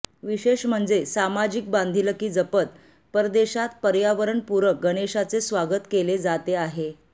विशेष म्हणजे सामाजिक बांधिलकी जपत परदेशात पर्यावरणपूरक गणेशाचे स्वागत केले जाते आहे